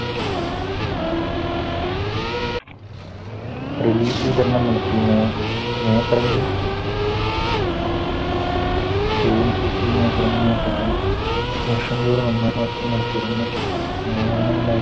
നടത്തുന്ന അവസരത്തിൽ വർഷം തോറും ഒന്നാം മാസത്തിൽ നടത്തി വരുന്ന